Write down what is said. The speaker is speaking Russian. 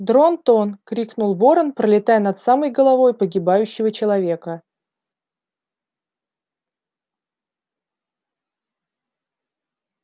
дрон-тон крикнул ворон пролетая над самой головой погибающего человека